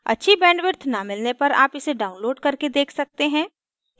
अच्छी bandwidth न मिलने पर आप इसे download करके देख सकते हैं